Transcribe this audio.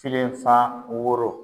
Filenfa woro